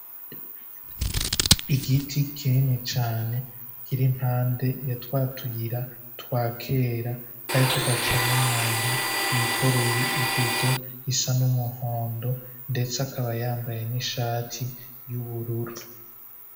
Igiti kinini cane kiri mpande ya twatuyira twakera kariko gacamo umuntu y'ikoreye ibido isa n'umuhondo ndetse akaba yambaye n'ishati y'ubururu.